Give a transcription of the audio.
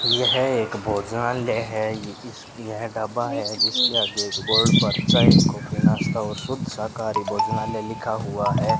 यह एक भोजनालय है इस यह ढाबा है जिसके आगे एक बोर्ड पर चाय कॉफी नास्ता और शुद्ध शाकाहारी भोजनालय लिखा हुआ है।